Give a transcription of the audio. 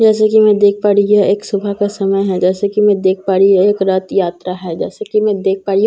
जैसे कि मैं देख पा रही यह एक सुबह का समय है जैसे कि मैं देख पा रही हूं यह एक रथ यात्रा है जैसे कि मैं देख पा रही हूं --